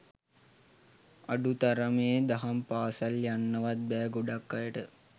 අඩු තරමේ දහම් පාසැල් යන්නවත් බෑ ගොඩක් අයට